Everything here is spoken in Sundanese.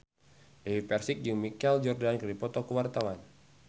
Dewi Persik jeung Michael Jordan keur dipoto ku wartawan